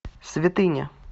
святыня